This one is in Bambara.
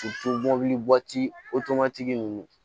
mobilitigi tigi ninnu